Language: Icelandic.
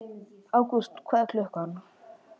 Ágúst, hvað er klukkan?